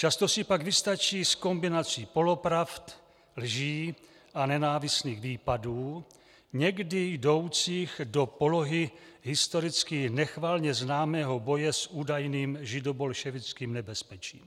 Často si pak vystačí s kombinací polopravd, lží a nenávistných výpadů, někdy jdoucích do polohy historicky nechvalně známého boje s údajným židobolševickým nebezpečím.